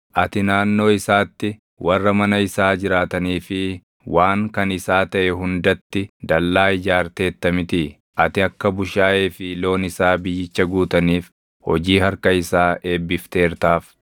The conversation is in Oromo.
Ati naannoo isaatti, warra mana isaa jiraatanii fi waan kan isaa taʼe hundatti dallaa ijaarteerta mitii? Ati akka bushaayee fi loon isaa biyyicha guutaniif hojii harka isaa eebbifteertaaf.